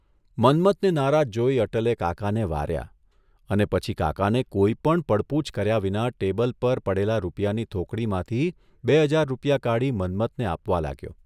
મન્મથને નારાજ જોઇ અટલે કાકાને વાર્યા અને પછી કાકાને કોઇપણ પડપૂછ કર્યા વિના ટેબલ પર પડેલા રૂપિયાની થોકડીમાંથી બે હજાર રૂપિયા કાઢી મન્મથને આપવા લાગ્યો.